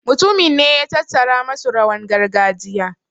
mutumin ne ya tattara masu rawan gargajiya